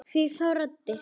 Hvaða raddir þá?